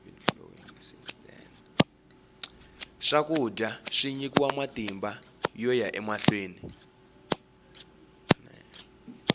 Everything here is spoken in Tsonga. swakudya swi nyika matimba yoya emahlweni